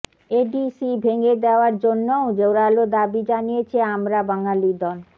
ADC ভেঙ্গে দেওয়ার জন্যও জোরালো দাবী জানিয়েছে আমরা বাঙালী দল